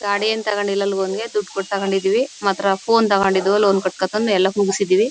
ಗಾಡಿಯೇನೂ ತಗೊಂಡಿಲ್ಲ ಲೋನ್ ಗೆ ದುಡ್ಡು ಕೊಟ್ಟು ತಗೊಂಡಿದೀವಿ ಮಾತ್ರ ಫೋನ್ ತಗೊಂಡಿದ್ದು ಲೋನ್ ಕಟ್ಕೊಂಡು ಎಲ್ಲಾ ಮುಗಿಸಿದ್ದೀವಿ.